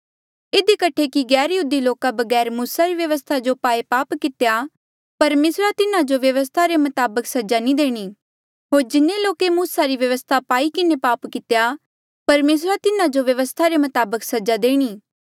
इधी कठे कि गैरयहूदी लोको बगैर मूसा री व्यवस्था जो पाये पाप कितेया परमेसरा तिन्हा जो व्यवस्था रे मताबक सजा नी देणी होर जिन्हें लोके मूसा री व्यवस्था पाई किन्हें पाप कितेया परमेसरा तिन्हा जो व्यवस्था रे मताबक सजा देणी